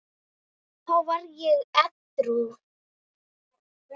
Þá var ég edrú.